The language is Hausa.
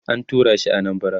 an turashi Anambara